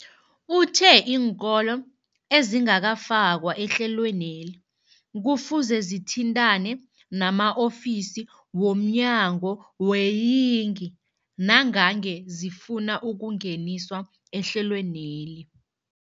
Uthe iinkolo ezingakafakwa ehlelweneli kufuze zithintane nama-ofisi wo mnyango weeyingi nangange zifuna ukungeniswa ehlelweni.